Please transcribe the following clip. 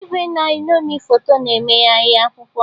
Igwe na-eṅomi foto na-emegharị akwụkwọ